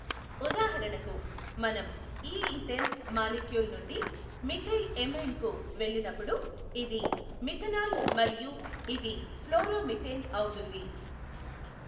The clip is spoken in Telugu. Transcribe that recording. ఉదాహరణకు మనం ఈ ఈథేన్ మాలిక్యూల్ నుండి మిథైల్ ఎమైన్ కు వెళ్లినప్పుడు ఇది మిథనాల్ మరియు ఇది ఫ్లోరో మీథేన్ అవుతుంది.